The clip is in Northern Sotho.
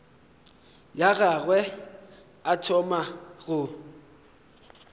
ya gagwe a thoma go